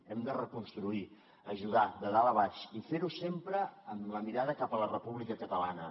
hem de reconstruir ajudar de dalt a baix i fer ho sempre amb la mirada cap a la república catalana